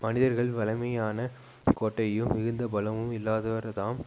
மனிதர்கள் வலிமையான கோட்டையும் மிகுந்த பலமும் இல்லாதவர்தாம்